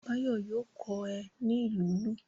Báyọ̀ yóò kọ́ ẹ ní ìlù lílù.